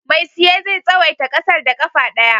Mai siye zai tsawaita ƙasar da ƙafa ɗaya.